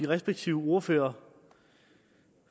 respektive ordførere